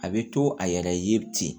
A bɛ to a yɛrɛ ye ten